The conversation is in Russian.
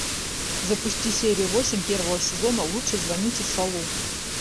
запусти серию восемь первого сезона лучше звоните солу